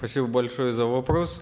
спасибо большое за вопрос